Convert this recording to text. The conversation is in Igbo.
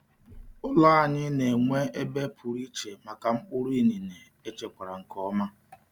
Ụlọ anyị na-enwe ebe pụrụ iche maka mkpụrụ inine echekwara nke ọma.